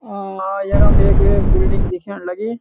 आ यखम एक बिल्डिंग दिख्याण लगीं।